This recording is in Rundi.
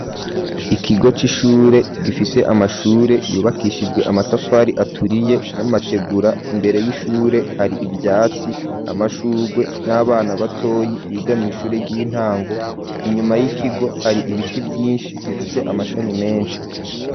ikigo c'ishure gifise amashure yubakishijwe amatafari aturiye n'amategura imbere y'ishure hari ivyatsi amashurwe n'abana batoyi bigamye ishure ry'intango. Inyuma y'ikigo hari ibiti vyinshi bifise amashami menshi.